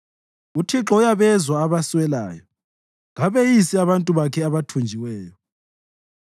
UThixo uyabezwa abaswelayo, kabeyisi abantu bakhe abathunjiweyo.